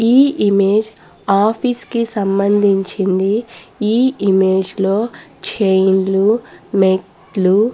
ఈ image office కి సంబంధించింది ఈ ఇమేజ్ లో చైన్ లు మెట్లు --